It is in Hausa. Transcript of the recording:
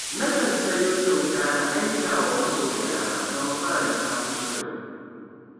Nakan sayo kyauta na aikawa masoyana don faranta musu rai.